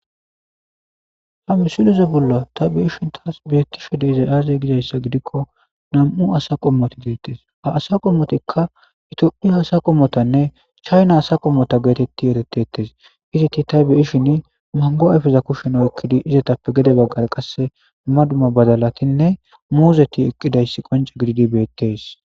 Hamisileze bolla tabeishin taas beettishe deezay aaze gizayssa gidikko nam'u asa qommoti geettes haasa qommotikka ito'u asa qommotanne chayna asa qommota geetetti eretettes izitti ta be'ishin mango ayfeza kushshen oekkidi izatappe gede baggar qasse duma duma badalatinne muuzeti eqqidayss qonca gididi beettes.